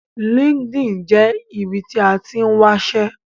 LinkedIn jẹ́ ibi tí a tín wáṣẹ́